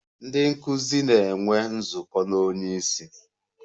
Ndị nkụzi na-enwe nzukọ na onye isi.